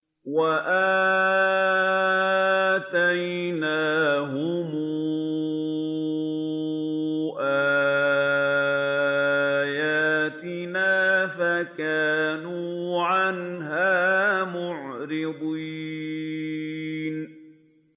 وَآتَيْنَاهُمْ آيَاتِنَا فَكَانُوا عَنْهَا مُعْرِضِينَ